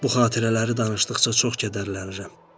Bu xatirələri danışdıqca çox kədərlənirəm.